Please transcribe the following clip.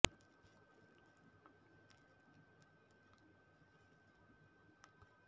ಮನ್ಮಥನ ಖಡ್ಗವನ್ನು ಝಳಪಿಸಿದಂತೆ ಚುರುಕಾದ ಚಲನವಲನಗಳ ಶೃಂಗಾರಮಯ ನೃತ್ಯವನ್ನು ಮಂಗಲವತಿ ಮಾಡಿದ ವರ್ಣನೆಯನ್ನು ಮುಂದಿನ ಪದ್ಯಗಳಲ್ಲಿ ಕವಿ ಸೊಗಸಾಗಿ ಹೇಳುತ್ತಾನೆ